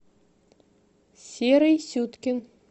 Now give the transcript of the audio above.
серый сюткин